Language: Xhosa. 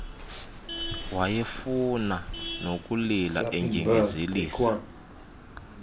wayefuna nokulila endyengezelisa